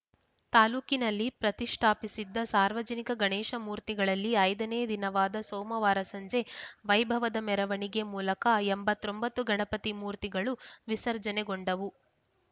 ತಾಲೂಕಿನಲ್ಲಿ ಪ್ರತಿಷ್ಠಾಪಿಸಿದ್ದ ಸಾರ್ವಜನಿಕ ಗಣೇಶ ಮೂರ್ತಿಗಳಲ್ಲಿ ಐದನೇ ದಿನವಾದ ಸೋಮವಾರ ಸಂಜೆ ವೈಭವದ ಮೆರವಣಿಗೆ ಮೂಲಕ ಎಂಬತ್ ಒಂಬತ್ರ ಗಣಪತಿ ಮೂರ್ತಿಗಳು ವಿಸರ್ಜನೆ ಗೊಂಡವು